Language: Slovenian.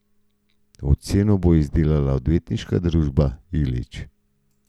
Oceno bo izdelala odvetniška družba Ilič.